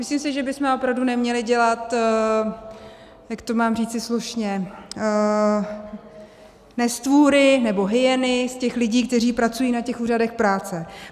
Myslím si, že bychom opravdu neměli dělat - jak to mám říci slušně - nestvůry nebo hyeny z těch lidí, kteří pracují na těch úřadech práce.